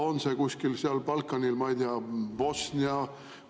On see koht kuskil seal Balkanil, ma ei tea, Bosnia?